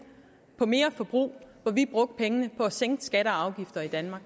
på mere forbrug hvor vi brugte pengene på at sænke skatter og afgifter i danmark